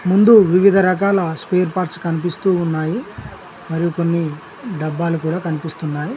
ముందు వివిధ రకాల స్పేర్ పార్ట్స్ కనిపిస్తూ ఉన్నాయి మరియు కొన్ని డబ్బాలు కూడా కనిపిస్తున్నాయి.